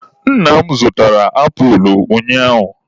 Nna m zụtara apulụ ụnyaahụ.